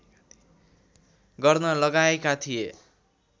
गर्न लगाएका थिए